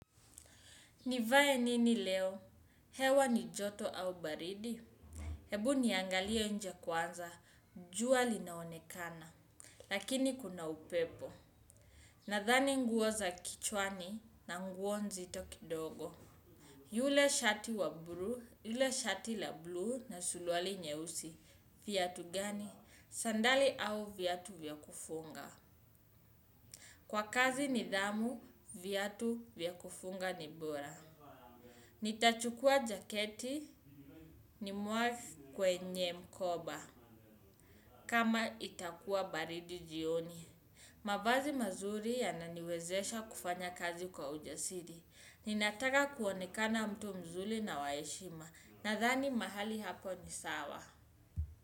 Nivae nini leo. Hewa ni joto au baridi. Hebu niangalie nje kwanza, jua linaonekana. Lakini kuna upepo. Nadhani nguo za kichwani na nguo nzito kidogo. Yule shati wa blue, yule shati la blue na suluali nyeusi. Viatu gani. Sandali au viatu vya kufunga. Kwa kazi nidhamu, viatu vya kufunga ni bora. Nitachukua jaketi nimwage kwenye mkoba kama itakuwa baridi jioni. Mavazi mazuri yananiwezesha kufanya kazi kwa ujasiri. Ninataka kuonekana mtu mzuri na wa heshima nadhani mahali hapo ni sawa.